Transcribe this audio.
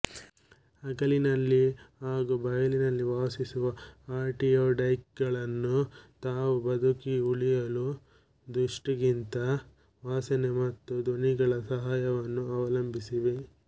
ಹಗಲಿನಲ್ಲಿ ಹಾಗೂ ಬಯಲಿನಲ್ಲಿ ವಾಸಿಸುವ ಆರ್ಟಿಯೊಡ್ಯಾಕ್ಟೈಲಗಳು ತಾವು ಬದುಕಿ ಉಳಿಯಲು ದೃಷ್ಟಿಗಿಂತ ವಾಸನೆ ಮತ್ತು ಧ್ವನಿಗಳ ಸಹಾಯವನ್ನು ಅವಲಂಬಿಸಿವೆ